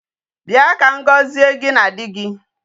Bịa ka m gọzie gị na di gị.